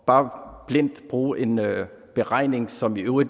bare blindt at bruge en beregning som jo i